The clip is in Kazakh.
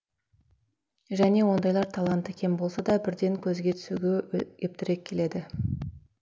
және ондайлар таланты кем болса да бірден көзге түсуге ептірек келеді